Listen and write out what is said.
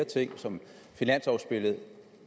ting som finanslovudspillet